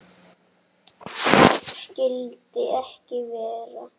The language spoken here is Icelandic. Það skyldi ekki vera.